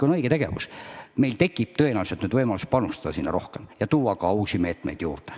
Nüüd tekib meil tõenäoliselt võimalus panustada sinna veel rohkem ja tuua ka uusi meetmeid juurde.